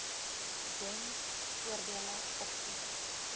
gems voordele opsies